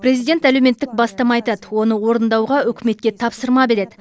президент әлеуметтік бастама айтады оны орындауға үкіметке тапсырма береді